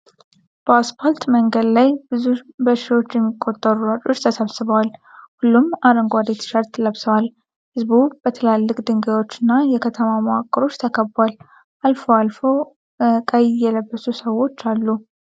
በአስፋልት መንገድ ላይ ብዙ በሺዎች የሚቆጠሩ ሯጮች ተሰብስበዋል፤ ሁሉም አረንጓዴ ትሸርት ለብሰዋል። ህዝቡ በትላልቅ ድልድዮች እና የከተማ መዋቅሮች ተከቧል። አልፎ አልፎ አልፎ ቀይ የለበሱ ሰዎች አሉ።